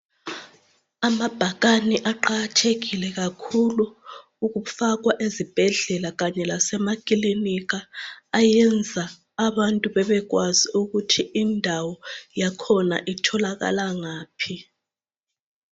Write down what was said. Amabhakane aqakathekile kakhulu ukufakwa ezibhedlela kanye lasemakilinika. Ayenza abantu babekwazi ukuthi indawo yakhona atholakala ngaphi.